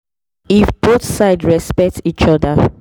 if both sides respect each other e go make faith and medicine work well together.